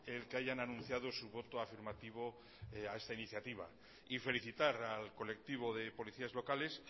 el que hayan anunciado su voto afirmativo a esta iniciativa y felicitar al colectivo de policías locales